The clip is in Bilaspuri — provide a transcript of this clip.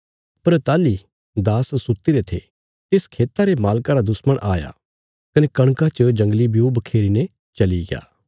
पर ताहली दास सुत्तीरे थे तिस खेता रे मालका रा दुश्मण आया कने कणका च जंगली ब्यू बखेरी ने चलिग्या